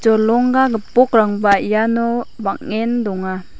jolongga gipokrangba iano bang·en donga.